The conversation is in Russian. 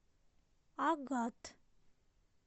агат